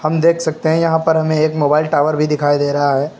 हम देख सकते है यहां पर हमें एक मोबाइल टॉवर भी दिखाई दे रहा है।